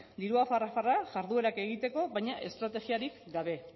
dirua farra farra jarduerak egiteko baina estrategiarik gabe